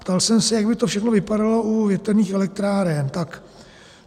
Ptal jsem se, jak by to všechno vypadalo u větrných elektráren.